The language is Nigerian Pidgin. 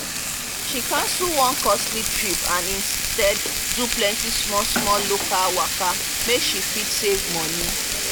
she cancel one costly trip and instead do plenty small-small local waka make she fit save money.